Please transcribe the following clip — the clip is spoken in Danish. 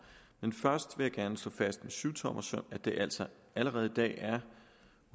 men først vil jeg gerne slå fast med syvtommersøm at det altså allerede i dag er